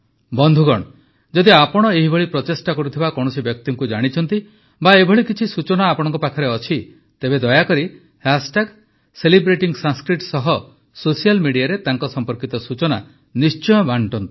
ବନ୍ଧୁଗଣ ଯଦି ଆପଣ ଏହିଭଳି ପ୍ରଚେଷ୍ଟା କରୁଥିବା କୌଣସି ବ୍ୟକ୍ତିଙ୍କୁ ଜାଣିଛନ୍ତି ବା ଏଭଳି କିଛି ସୂଚନା ଆପଣଙ୍କ ପାଖରେ ଅଛି ତେବେ ଦୟାକରି ସେଲିବ୍ରେଟିଂସଂସ୍କୃତ ସହ ସୋସିଆଲ୍ ମିଡିଆରେ ତାଙ୍କ ସମ୍ପର୍କିତ ସୂଚନା ନିଶ୍ଚୟ ବାଣ୍ଟନ୍ତୁ